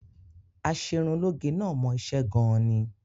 Aṣerunlóge náà mọ iṣẹ́ gan-an ni